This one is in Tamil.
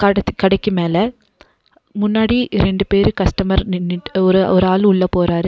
அடுத்து கடைக்கு மேல முன்னாடி ரெண்டு பேரு கஸ்டமர் நின்னுட்டு ஒரு ஒரு ஆளு உள்ள போறாரு.